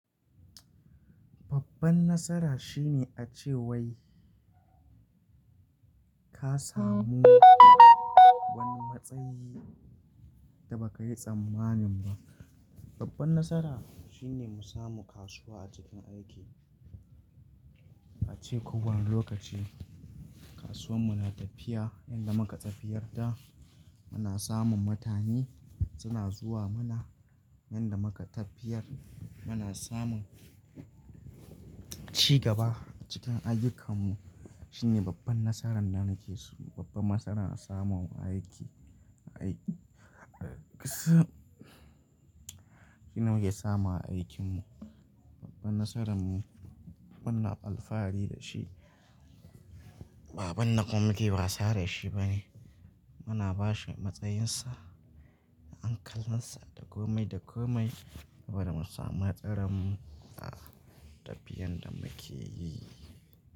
Babban nasara shine a ce wai ka samu wani matsayi da ba ka yi tsammanin ba. Babban nasara shine mu samu kasuwa a cikin aiki. A ce ko wani lokaci kasuwar mu na tafiya, yanda muka tafiyar da muna samun mutane suna zuwa ma yanda muka tafiyar muna samun cigaba a cikin ayyukanmu. Shine babban nasaran da muke so, babban nasaran a samun aiki. Shine muke samu a aikinmu. Babban nasaran mu muna alfahari da shi. Ba ban na kwam muke wasa da shi bane. Muna bashi matsayinsa an kalmansa da komai da komai. Saboda mu samu hatsaran mu a tafiyan da muke yi.